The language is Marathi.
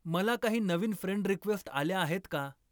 मला काही नवीन फ्रेंड रिक्वेस्ट आल्या आहेत का